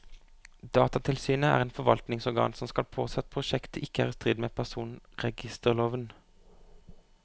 Datatilsynet er et forvaltningsorgan som skal påse at prosjektet ikke er i strid med personregisterloven.